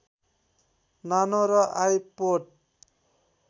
नानो र आइपोड